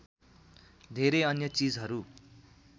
धेरै अन्य चिजहरू